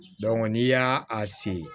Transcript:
n'i y'a a se